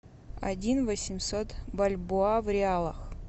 один восемьсот бальбоа в реалах